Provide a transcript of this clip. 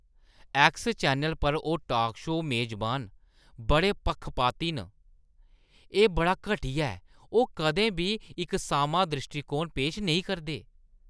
X channel पर ओह् talk show मेजबान बड़े पक्खपाती न, एह् बड़ा घटिया ऐ। ओह् कदें बी इक सामां द्रिश्टीकोण पेश नेईं करदे।